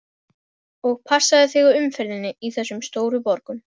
Og passaðu þig á umferðinni í þessum stóru borgum.